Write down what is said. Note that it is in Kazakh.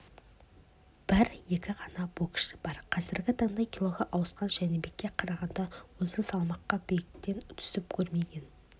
бір-екі ғана боксшы бар қазіргі таңда килоға ауысқан жәнібекке қарағанда осы салмақта биіктен түсіп көрмеген